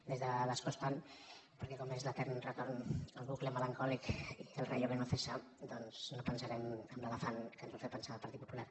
des de l’escó estant perquè com que és l’etern retorn al bucle melancòlic i al rayo que no cesa doncs no pensarem en l’elefant en què ens vol fer pensar el partit popular